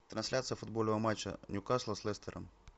трансляция футбольного матча ньюкасла с лестером